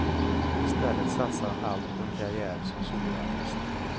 I stället satsar han allt på en karriär som soloartist.